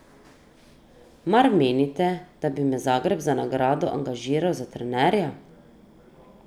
Mar menite, da bi me Zagreb za nagrado angažiral za trenerja?